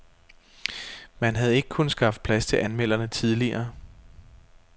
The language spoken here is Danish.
Man havde ikke kunnet skaffe plads til anmelderne tidligere.